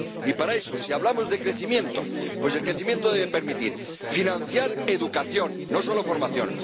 Y para eso, si hablamos de crecimiento, pues el crecimiento debe permitir financiar educación, no solo formación